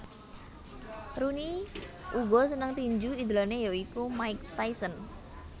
Rooney uga seneng tinju idolanè ya iku Mike Tyson